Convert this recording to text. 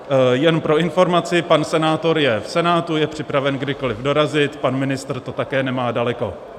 Jen pro informaci, pan senátor je v Senátu, je připraven kdykoliv dorazit, pan ministr to také nemá daleko.